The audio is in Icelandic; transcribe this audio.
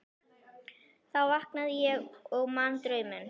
Þá vaknaði ég og man drauminn.